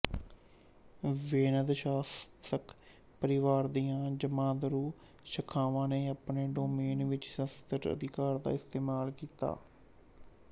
ਵੇਨਦ ਸ਼ਾਸਕ ਪਰਿਵਾਰ ਦੀਆਂ ਜਮਾਂਦਰੂ ਸ਼ਾਖਾਵਾਂ ਨੇ ਆਪਣੇ ਡੋਮੇਨ ਵਿੱਚ ਸੁਤੰਤਰ ਅਧਿਕਾਰ ਦਾ ਇਸਤੇਮਾਲ ਕੀਤਾ